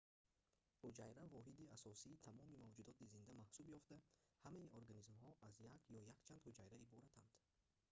ҳуҷайра воҳиди асосии тамоми мавҷудоти зинда маҳсуб ёфта ҳамаи организмҳо аз як ё якчанд ҳуҷайра иборатанд